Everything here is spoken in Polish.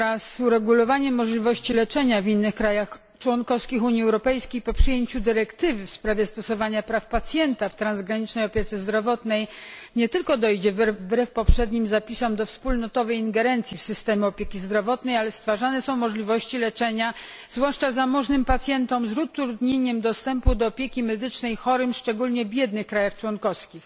Wraz z uregulowaniem możliwości leczenia w innych krajach członkowskich Unii Europejskiej po przyjęciu dyrektywy w sprawie stosowania praw pacjenta w transgranicznej opiece zdrowotnej, nie tylko dojdzie wbrew poprzednim zapisom do wspólnotowej ingerencji w systemy opieki zdrowotnej, ale stworzone zostaną możliwości leczenia, zwłaszcza zamożnym pacjentom, z utrudnieniem dostępu do opieki medycznej chorym szczególnie w biednych krajach członkowskich.